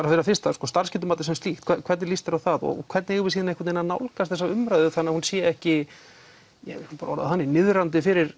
fyrir að fyrsta starfsgetumatið sem slíkt hvernig líst þér á það og hvernig eigum við svo einhvern veginn að nálgast þessa umræðu þannig að hún sé ekki skulum bara orða það þannig niðrandi fyrir